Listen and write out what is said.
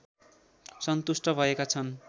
सन्तुष्ट भएका छन्